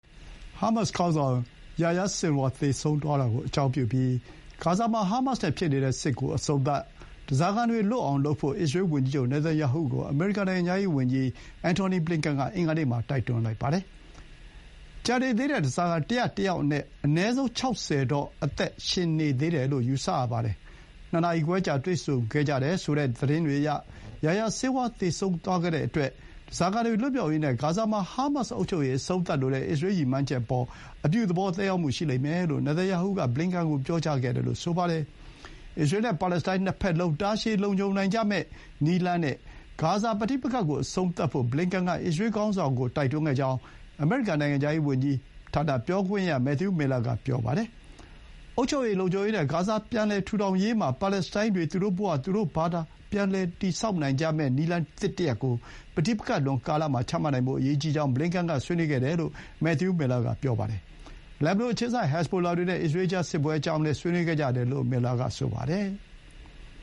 ဟာမတ်စ်ခေါင်းဆောင် Yahya Sinwar သေဆုံးသွားတာကိုအကြောင်းပြုပြီး ဂါဇာမှာ ဟာမတ်စ်နဲ့ ဖြစ်နေတဲ့စစ်ကို အဆုံးသတ်၊ ဓားစာခံတွေ လွတ်အောင်လုပ်ဖို့ အစ္စရေးဝန်ကြီးချုပ် နေတန်ယာဟုကို အမေရိကန်နိုင်ငံခြားရေးဝန်ကြီး အန်ထော်နီ ဘလင်ကန်က အင်္ဂါနေ့မှာ တိုက်တွန်းလိုက်ပါတယ်။ ကျန်နေသေးတဲ့ ဓားစာခံ ၁၀၁ ယောက်အနက် အနည်းဆုံး ၆၀ တော့ အသက်ရှင်နေသေးတယ်လို့ ယူဆရပါတယ်။ ၂ နာရီခွဲကြာ တွေ့ဆုံခဲ့ကြတယ်ဆိုတဲ့သတင်းတွေအရ ယာယာ ဆင်းဝါး သေဆုံးသွား တဲ့အတွက် ဓားစာခံတွေလွတ်မြောက်ရေးနဲ့ ဂါဇာမှာ ဟာမတ်စ်အုပ်ချုပ်ရေး အဆုံးသတ်လိုတဲ့ အစ္စရေး ရည်မှန်းချက်အပေါ် အပြုသဘော သက်ရောက်မှုရှိလိမ့်မယ်လို့ နေတန်ယာဟုက ဘလင်ကန်ကို ပြောကြားခဲ့တယ်လို့ ဆိုပါတယ်။ အစ္စရေးနဲ့ပါလက်စတိုင်းနှစ်ဘက်လုံး တာရှည်လုံခြုံနိုင်ကြမယ့်နည်းလမ်းနဲ့ ဂါဇာပဋိပက္ခကို အဆုံးသတ် ဖို့ ဘလင်ကန်က အစ္စရေးခေါင်းဆောင်ကို တိုက်တွန်းခဲ့ကြောင်း အမေရိကန်နိုင်ငံခြားရေး ဝန်ကြီးဌာန ပြောခွင့်ရ Matthew Miller က ပြောပါတယ်။ အုပ်ချုပ်ရေး၊ လုံခြုံရေးနဲ့ဂါဇာ ပြန်လည်ထူထောင်ရေး မှာ ပါလက်စတိုင်းတွေ သူတို့ဘဝ သူတို့ဘာသာ ပြန်လည်တည်ဆောက် နိုင်ကြမယ့် နည်းလမ်းသစ် တရပ်ကို ပဋိပက္ခလွန်ကာလမှာ ချမှတ်နိုင်ဖို့ အရေးကြီးကြောင်း ဘလင်ကန်က ဆွေးနွေးခဲ့တယ်လို့ မက်သယူး မီးလ်လာက ပြောပါတယ်။ လက်ဘနွန်အခြေစိုက် ဟက်ဇ်ဘိုလာတွေနဲ့အစ္စရေးကြား စစ်ပွဲအကြောင်းလည်း ဆွေးနွေးခဲ့တယ်လို့ မီးလ်လာက ဆိုပါတယ်။